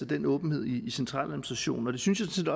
den åbenhed i centraladministrationen og det synes jeg